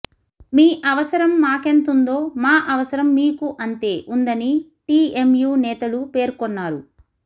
మీ అవసరం మాకెంతుందో మా అవసరం మీకు అంతే ఉందని టిఎంయు నేతలు పేర్కొన్నారు